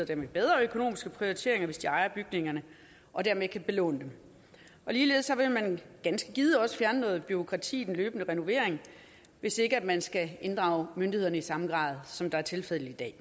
dermed bedre økonomiske prioriteringer hvis de ejer bygningerne og dermed kan belåne dem ligeledes vil man ganske givet også fjerne noget bureaukrati i den løbende renovering hvis ikke man skal inddrage myndighederne i samme grad som det er tilfældet i dag